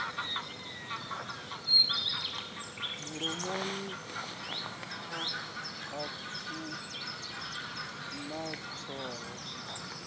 mulomoni a ku na thoho